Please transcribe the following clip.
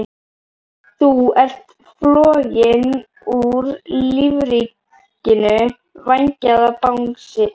Þú ert floginn úr lífríkinu, vængjaði Bangsi.